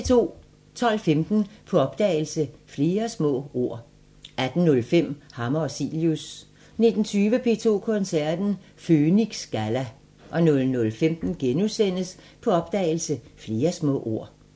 12:15: På opdagelse – Flere små ord 18:05: Hammer og Cilius 19:20: P2 Koncerten – Føniks Galla 00:15: På opdagelse – Flere små ord *